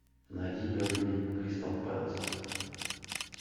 найди бернли кристал пэлас